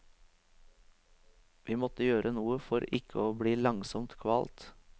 Vi måtte gjøre noe for ikke å bli langsomt kvalt.